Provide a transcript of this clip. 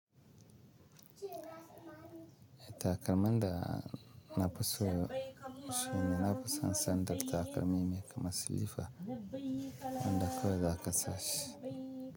Takalman da na fi so shine na fi sanda takalmi me kama silifa wanda kawai za ka sa shi.